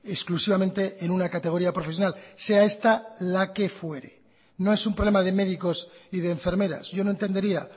exclusivamente en una categoría profesional sea esta la que fuere no es un problema de médicos y de enfermeras yo no entendería